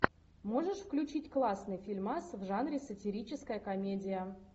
можешь включить классный фильмас в жанре сатирическая комедия